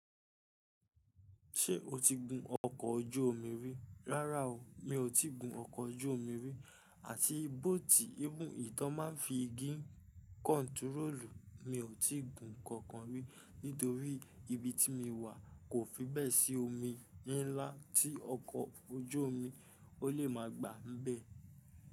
Ṣé o ti gun ọkọ̀ ojú omi rí? Rárá o, mi ò tí gun ọkọ̀ ojú omi rí àti bóòtì égún ìtọ́ máa ń fi gín kọ́ntúróòlù mi ò tí gun kankan rí, nítorí ibi tí mi wà kò fi bẹ́ẹ̀ sí omi ńlá tí ọkọ̀ ojú omi ó lè máa gbà ń bẹ.